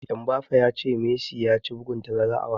Mbappe ya ce Messi ya ci bugun tazara a wasanni.